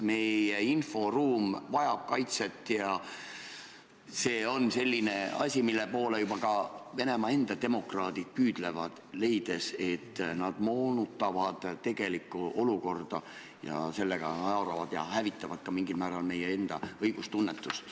Meie inforuum vajab kaitset ja see on selline asi, mille poole ka Venemaa enda demokraadid püüdlevad, leides, et propagandistid moonutavad tegelikku olukorda ning sellega haavavad ja hävitavad mingil määral ka meie enda õigustunnetust.